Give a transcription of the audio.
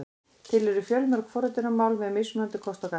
Til eru fjölmörg forritunarmál með mismunandi kosti og galla.